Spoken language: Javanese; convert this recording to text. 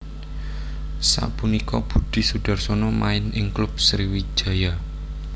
Sapunika Budi Sudarsono main ing klub Sriwijaya